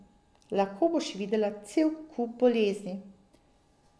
Lahko boš videla cel kup bolezni.